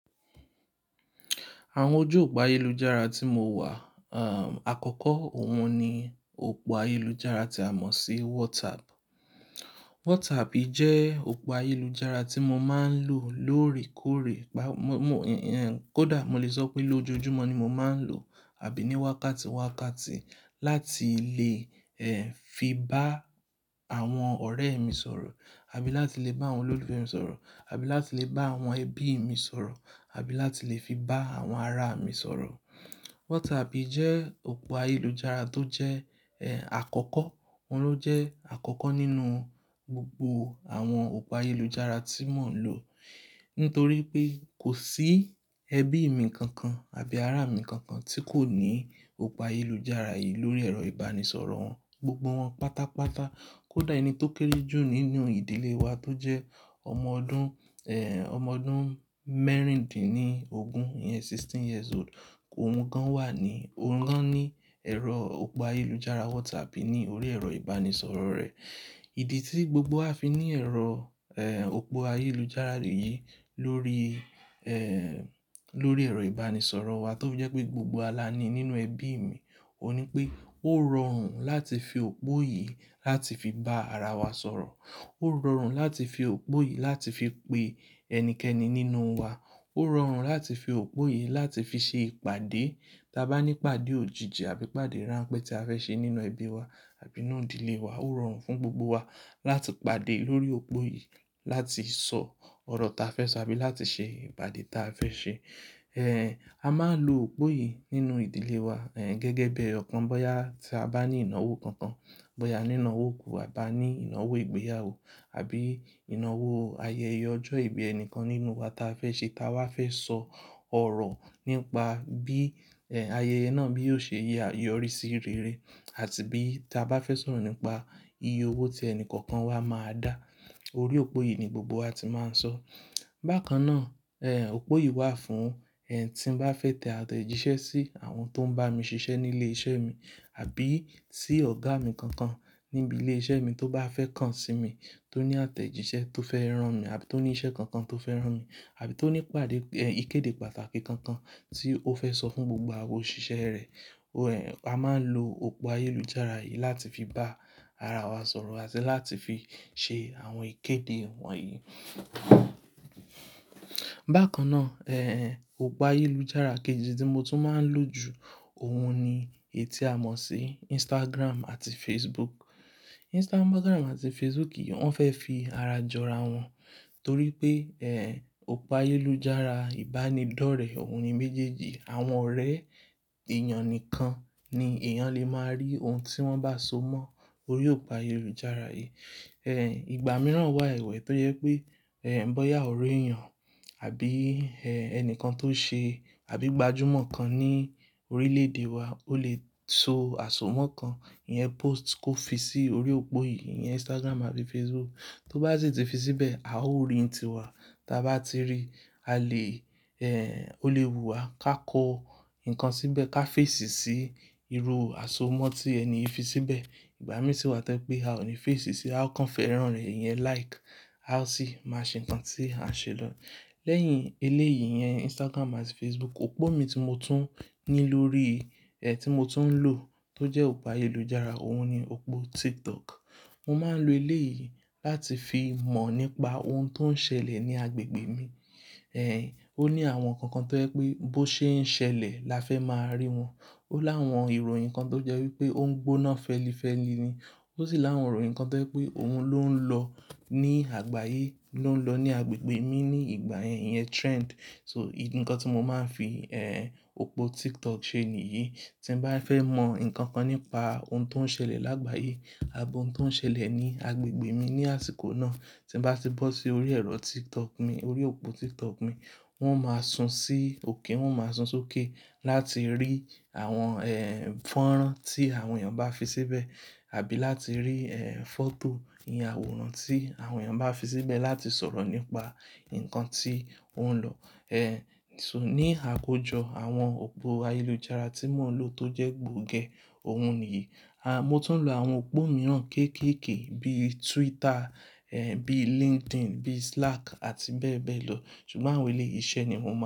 Àwọn ojú òpó ayélujára tí mo wà, àkọ́kọ́ òun ni òpó ayélujára tí a mọ̀ sí WhatsApp. WhatsApp jẹ́ òpó ayélujára tí mo máa ń lò lóòrèkóòrè, kódà mo lè sọ pé lójoojúmọ́ ni mo máa ń lò àbí ní wákàtí wákàtí láti lè, ẹ́, fi bá àwọn ọ̀rẹ́ mi sọ̀rọ̀ àbí láti lè bá àwọn olólùfẹ́ mi sọ̀rọ̀ àbí láti lè bá àwọn ẹbí mi sọ̀rọ̀ àbí láti lè fi bá àwọn ará mi sọ̀rọ̀. WhatsApp jẹ́ òpó ayélujára tó jẹ́, ẹ́, àkọ́kọ́. Òun ló jẹ́ àkọ́kọ́ nínú gbogbo àwọn òpó ayélujára tí mò ń lò. Nítorí pé kò sí ẹbí mi kankan àbí ará mi kankan tí kò ní òpó ayélujára yìí lórí ẹ̀rọ ìbánisọ̀rọ̀ wọn. Gbogbo wọn pátápátá. Kódà ẹni tó kéré jù nínú ìdílé wa tó jẹ́ ọmọ ọdún, ẹ́, ọmọ ọdún mẹ́rindínní ogún, ìyẹn sixteen years old, òun gan wà ní, òun gan ní ẹ̀rọ òpó ayélujára WhatsApp ní orí ẹ̀rọ ìbánisọ̀rọ̀ rẹ̀. Ìdí tí gbogbo a fi ní ẹ̀rọ, òpó ayélujára yìí lórí, lórí ẹ̀rọ ìbánisọ̀rọ̀ wa tó jẹ́ pé gbogbo wa la ní nínú ẹbí mi, òun ni pé ó rọrùn láti fi òpó yìí láti fi bá ara wa sọ̀rọ̀. Ó rọrùn láti fi òpó yìí láti fi pe ẹnikẹ́ni nínú wa. Ó rọrùn láti fi òpó yìí láti fi ṣe ìpàdé. Tà bá ní ìpàdé òjìji àbí ìpàdé ránpẹ́ tí a fẹ́ ṣe nínú ẹbí wa àbí inú ìdílé wa, ó rọrùn fún gbogbo wa láti pàdé lórí òpó yìí láti sọ ọ̀rọ̀ ta fẹ́ sọ àbí láti ṣe ìpàdé ta fẹ́ ṣe. A máa ń lo òpó yìí nínú ìdílé wa, ẹ́, gẹ́gẹ́ bí ẹ́ kàn bóyá tí a bá ní ìnáwó kankan, bóyá ìnáwó òkú àbí a ní ìnáwó ìgbéyàwó àbí ìnáwó ayẹyẹ ọjọ́ ìbí ẹnikẹ́ni nínú wa ta fẹ́ ṣe ta wá fẹ́ sọ ọ̀rọ̀ nípa bí, ẹ́, ayẹyẹ náà bí yóò ṣe yẹ́, yọrí sí rere àti bí ta bá fẹ́ sọ̀rọ̀ nípa iye owó tí ẹni kankan wa máa dá. Orí òpó yìí ni gbogbo wa ti máa ń sọ. Bákan náà, òpó yìí wà fún tí mo bá fẹ́ tẹ àtẹ̀jíṣẹ́ sí àwọn tó ń bá mi ṣiṣẹ́ nílé iṣẹ́ mi àbí sí ọ̀gá mi kankan níbi ilé iṣẹ́ mi tó bá fẹ́ kàn sí mi, tó ní àtẹ̀jíṣẹ́ tó fẹ́ rán mi àbí tó ní iṣẹ́ kankan tó fẹ́ rán mi àbí tó ní ìpàdé, ìkéde pàtàkì kankan tí ó fẹ́ sọ fún gbogbo àwọn òṣìṣẹ́ rẹ̀. A máa ń lo òpó ayélujára yìí láti fi bá ara wa sọ̀rọ̀ àti láti fi ṣe àwọn ìkéde wọ̀nyí. Bákan náà, òpó ayélujára kejì tí mo tún máa ń lò jù, òun ni èyí tí a mọ̀ sí Instagram àti Facebook. Instagram àti Facebook yìí wọ́n fẹ́ fi ara jọra wọn torí pé, òpó ayélujára ìbánidọ́rẹ̀ẹ́ òun ni méjèèjì. Àwọn ọ̀rẹ́ èèyàn nìkan ni èèyàn lè máa rí ohun tí wọ́n bá so mọ́ orí òpó ayélujára yìí. Ìgbà mìíràn wà ẹ́wẹ̀ tó jẹ́ pé, bóyá ọ̀rẹ́ èèyàn àbí, Ẹnìkan tó ṣe àbí gbajúmọ̀ kan ní orílẹ̀-èdè wa ò lè so àsomọ́ kan, ìyẹn post kó fi sí orí òpó yìí, ìyẹn Instagram àbí Facebook. Tó bá sì ti fi síbẹ̀, a ó rí i nítiwa. Tà bá ti rí i, a lè, ó lè bu wa ká kọ nǹkan síbẹ̀ ká fèsì sí irú àsomọ́ tí ẹni yìí fi síbẹ̀. Ìgbà mìíràn sì wà tí ẹ́ pé a ò ní fèsì sí i, a ó kàn fẹ́ rán rẹ̀, ìyẹn like, a ó sì máa ṣe ǹkan tí a ṣe lọ. Lẹ́yìn eléyìí, ìyẹn Instagram àti Facebook, òpó mi tí mo tún ní lórí, ẹ́, tí mo tún ń lò tó jẹ́ òpó ayélujára, òun ni òpó TikTok. Mo máa ń lo eléyìí láti fi mọ̀ nípa ohun tó ń ṣẹlẹ̀ ní agbègbè mi. Ó ní àwọn nǹkan kan tó jẹ́ pé bó ṣe ń ṣẹlẹ̀ la fẹ́ máa rí wọn. Ó láwọn ìròyìn kan tó jẹ́ wí pé ó ń gbóná fẹ́lífẹ́li ni. Ó sì láwọn ìròyìn kan tó jẹ́ pé òun ló ń lọ ní àgbáyé, ló ń lọ ní agbègbè mi ní ìgbà yẹn, ìyẹn trend. So ìdí ǹkan tí mo máa ń fi, ẹ́, òpó TikTok ṣe nìyí. Tí mo bá fẹ́ mọ̀ nǹkan kan nípa ohun tó ń ṣẹlẹ̀ lágbàyé àbí ohun tó ń ṣẹlẹ̀ ní agbègbè mi ní àsìkò náà, tí mo bá ti bọ́ sí orí ẹ̀rọ TikTok mi, orí òpó TikTok mi, wọn máa sun sí òkè, wọn máa sun sókè láti rí àwọn, ẹ́, fọ́nrán tí àwọn èèyàn bá fi síbẹ̀ àbí láti rí, ẹ́, fọ́tò, ìyẹn àwòrán tí àwọn èèyàn bá fi síbẹ̀ láti sọ̀rọ̀ nípa nǹkan tí ó ń lọ. Ní àkójọ àwọn òpó ayélujára tí mò ń lò tó jẹ́ gbòógẹ̀, òun nìyí. A, mo tún ń lo àwọn òpó mìíràn kéékèèké bíi Twitter, bíi LinkedIn, bíi Slack àti bẹ́ẹ̀ bẹ́ẹ̀ lọ. Ṣùgbọ́n àwọn eléyìí iṣẹ́ ni mo mọ̀.